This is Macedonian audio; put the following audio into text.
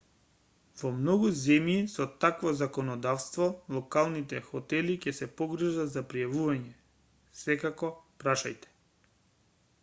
во многу земји со такво законодавство локалните хотели ќе се погрижат за пријавувањето секако прашајте